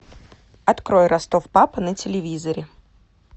открой ростов папа на телевизоре